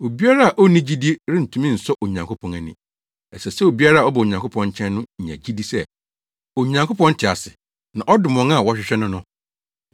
Obiara a onni gyidi rentumi nsɔ Onyankopɔn ani. Ɛsɛ sɛ obiara a ɔba Onyankopɔn nkyɛn no nya gyidi sɛ Onyankopɔn te ase na ɔdom wɔn a wɔhwehwɛ no no.